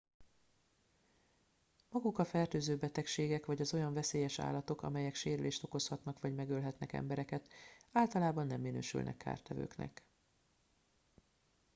maguk a fertőző betegségek vagy az olyan veszélyes állatok melyek sérülést okozhatnak vagy megölhetnek embereket általában nem minősülnek kártevőknek